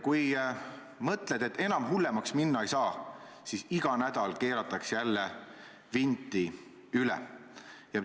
Kui mõtled, et enam hullemaks minna ei saa, siis iga nädal keeratakse jälle vinti üle.